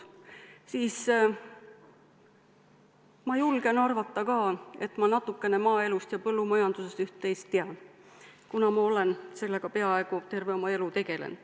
Ma julgen arvata, et ka mina tean üht-teist maaelust ja põllumajandusest, kuna olen sellega tegelenud peaaegu terve oma elu.